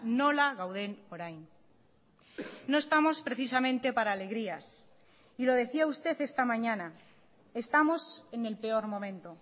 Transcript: nola gauden orain no estamos precisamente para alegrías y lo decía usted esta mañana estamos en el peor momento